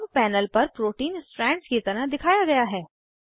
अब पैनल पर protein strands की तरह दिखाया गया है